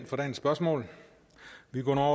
mere